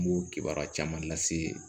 N b'o kibaruya caman lase